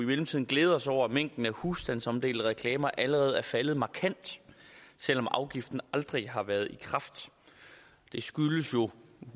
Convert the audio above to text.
mellemtiden glæde os over at mængden af husstandsomdelte reklamer allerede er faldet markant selv om afgiften aldrig har været trådt i kraft det skyldes jo